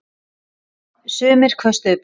Sumir köstuðu blómum í sjóinn.